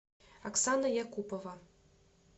оксана якупова